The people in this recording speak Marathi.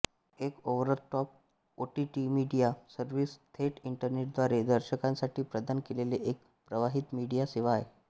एक ओव्हरदटॉप ओटीटी मीडिया सर्व्हिस थेट इंटरनेटद्वारे दर्शकांसाठी प्रदान केलेली एक प्रवाहित मीडिया सेवा आहे